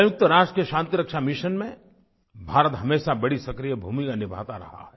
संयुक्त राष्ट्र के शांतिरक्षा मिशन में भारत हमेशा बड़ी सक्रिय भूमिका निभाता रहा है